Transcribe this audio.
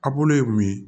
A bolo ye mun ye